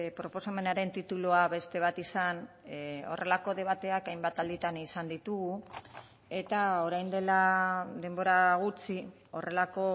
proposamenaren titulua beste bat izan horrelako debateak hainbat alditan izan ditugu eta orain dela denbora gutxi horrelako